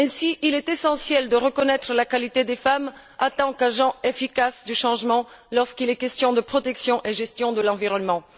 Ainsi, il est essentiel de reconnaître la qualité des femmes en tant qu'agents efficaces du changement lorsqu'il est question de protection et de gestion de l'environnement.